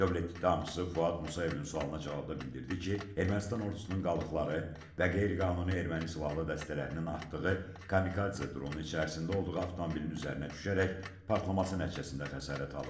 Dövlət ittihamçısı Fuad Musayevin sualına cavabda bildirdi ki, Ermənistan ordusunun qalıqları və qeyri-qanuni erməni silahlı dəstələrinin atdığı kamikadze dronu içərisində olduğu avtomobilin üzərinə düşərək partlaması nəticəsində xəsarət alıb.